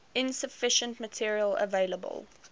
insufficient material available